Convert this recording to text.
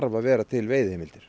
að vera til veiðiheimildir